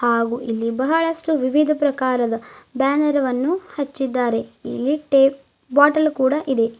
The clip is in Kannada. ಹಾಗು ಇಲ್ಲಿ ಬಹಳಷ್ಟು ವಿವಿಧ ಪ್ರಕಾರದ ಬ್ಯಾನರ್ ವನ್ನು ಹಚ್ಚಿದ್ದಾರೆ ಇಲ್ಲಿ ಟೇ ಬಾಟಲ್ ಕೂಡ ಇದೆ.